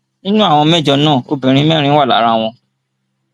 nínú àwọn mẹjọ náà obìnrin mẹrin wà lára wọn